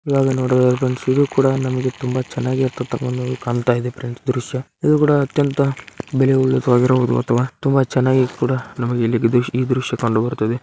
ಈವಾಗ ನೋಡೋಣ ಫ್ರೆಂಡ್ಸ್ ಇದು ಕೂಡ ನಮ್ಮಗೆ ತುಂಬಾ ಚೆನ್ನಾಗಿ ಇರತಕಾಂತದ್ದು ಕಾಣುತ ಇದೆ ಫ್ರೆಂಡ್ಸ್ ದೃಶ್ಯ ಇದು ಕೂಡ ಅತ್ಯಂತ ತುಂಬಾ ಚೆನ್ನಾಗಿ ಕೂಡ ನಮ್ಮಗೆ ಈ--ಈ ದೃಶ್ಯ ಕಂಡು ಬರುತ್ತದೆ .